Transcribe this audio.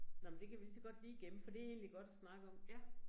Nåh men det kan vi ligeså godt lige gemme for det egentlig godt at snakke om